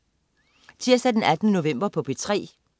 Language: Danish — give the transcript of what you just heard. Tirsdag den 18. november - P3: